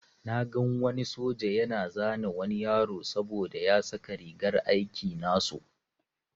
Na gan wani soja yana zane wani yaro saboda ya saka rigar aiki nasu.